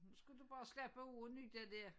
Nu skal du bare slappe af og nyde det